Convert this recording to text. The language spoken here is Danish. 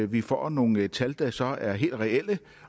vi får nogle tal der så er helt reelle